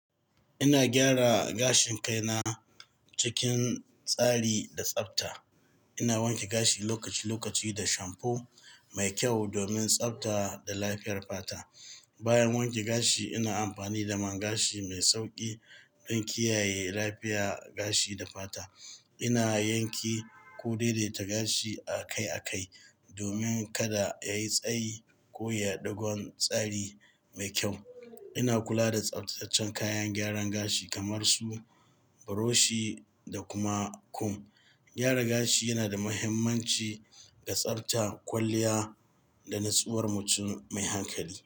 Ina gyara gashin kai na cikin tsari da tsafta. Ina wanke gashi lokaci-lokaci da shampo mai kyau domin tsafta da lafiyar fata. Bayan wanke gashi, ina amfani da man gashi mai sauƙi don in kiyaye lafiya gashi da fata. Ina yanke ko daidaita gashi a kai a kai domin kada ya yi tsayi ko ya ɗau tsari mai kyau. Ina kula da tsaftataccen kayan gyaran gashi kamar su buroshi, da kuma kum. Gyara gashi yana da mahimmanci ga tsarta kwalliya da nutsuwar mutum mai hankali.